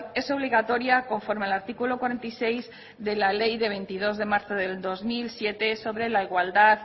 es obligatoria conforme al artículo cuarenta y seis de la ley de veintidós de marzo del dos mil siete sobre la igualdad